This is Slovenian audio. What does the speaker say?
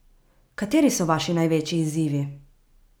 Kateri so vaši največji izzivi?